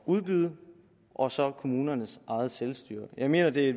udbyde og så kommunernes eget selvstyre jeg mener at det